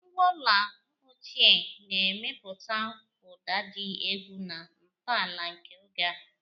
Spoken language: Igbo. Ngwa ọla ochie na-emepụta ụda dị egwu na ntọala nke oge a.